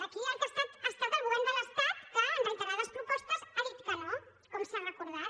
aquí ha estat el govern de l’estat qui en reiterades propostes ha dit que no com s’ha recordat